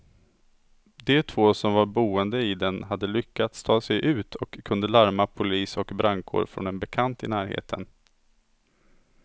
De två som var boende i den hade lyckats ta sig ut och kunde larma polis och brandkår från en bekant i närheten.